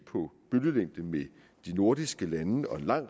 på bølgelængde med de nordiske lande og en lang